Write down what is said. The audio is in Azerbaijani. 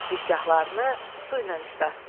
Gicgahlarını su ilə islatdı.